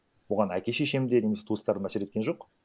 оған әке шешем де немесе туыстарым әсер еткен жоқ